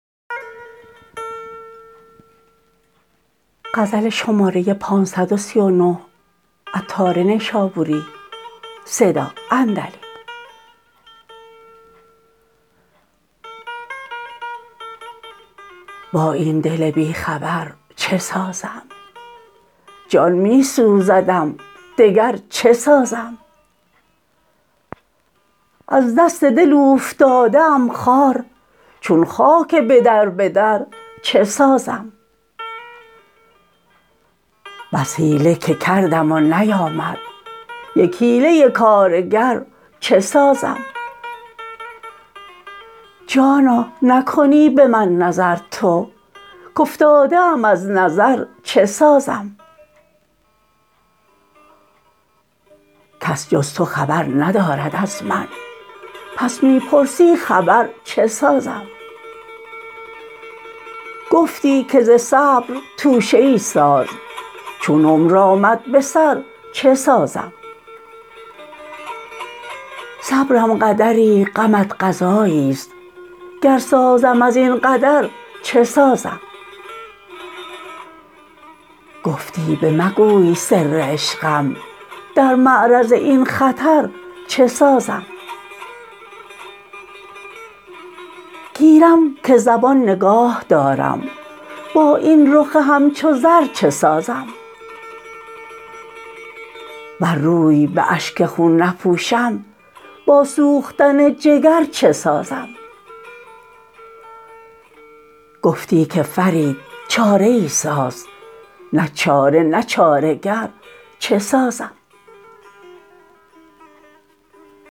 با این دل بی خبر چه سازم جان می سوزدم دگر چه سازم از دست دل اوفتاده ام خوار چون خاک بدر بدر چه سازم بس حیله که کردم و نیامد یک حیله کارگر چه سازم جانا نکنی به من نظر تو کافتاده ام از نظر چه سازم کس جز تو خبر ندارد از من پس می پرسی خبر چه سازم گفتی که ز صبر توشه ای ساز چون عمر آمد به سر چه سازم صبرم قدری غمت قضایی است گر سازم ازین قدر چه سازم گفتی به مگوی سر عشقم در معرض این خطر چه سازم گیرم که زبان نگاه دارم با این رخ همچو زر چه سازم ور روی به اشک خون نپوشم با سوختن جگر چه سازم گفتی که فرید چاره ای ساز نه چاره نه چاره گر چه سازم